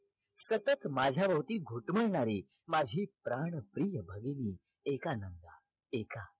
तसच माझ्या भोवती घुटमाळणारी माझी प्राणप्रिया भगिनी एकानन एका